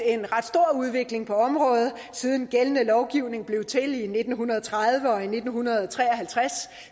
en ret stor udvikling på området siden gældende lovgivning blev til i nitten tredive og nitten tre og halvtreds